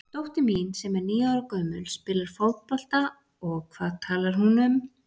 Dóttir mín sem er níu ára gömul spilar fótbolta og hvað talar hún um?